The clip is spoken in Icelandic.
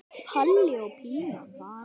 Palli og Pína fara með.